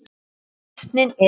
Vötnin eru